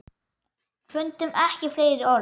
Fundum ekki fleiri orð.